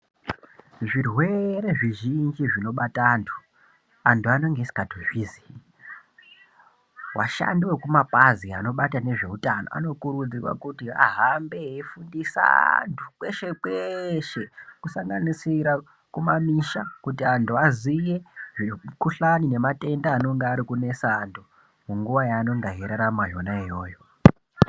Zvirwere zvizhinji zvinobata antu. Antu anenge asikatozvizi ashandi anoona nezvemumabazi anoona ngezveutano anokurudzirwa kuti ahambe eifundisa atu kweshe kweshe kusanganidira kumamisha kuti antu aziye zvemukhujlani nematenda arikunetsa antu minguwa yavanenge eirarama yona iyoyo.